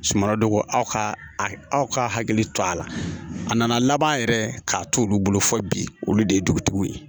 Suman don ko aw ka aw ka hakili to a la a nana laban yɛrɛ k'a t'olu bolo fo bi olu de ye dugutigiw ye